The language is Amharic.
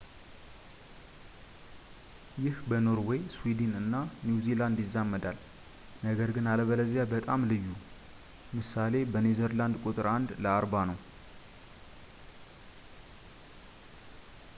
ይህ በኖርዌይ፣ ስዊድን፣ እና ኒው ዚላንድ ይዛመዳል፣ ነገር ግን አለበለዚያ በጣም ልዩ ምሳ. በኔዘርላንድ ቁጥሩ አንድ ለ አርባ ነው